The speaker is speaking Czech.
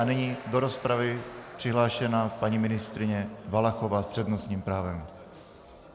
A nyní do rozpravy přihlášená paní ministryně Valachová s přednostním právem.